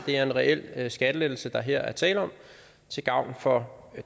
det er en reel skattelettelse der her er tale om til gavn for